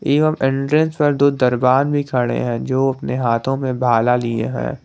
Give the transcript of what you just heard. एवं एंट्रेंस पर दो दरबार में खड़े हैं जो अपने हाथों में भाला लिए हैं।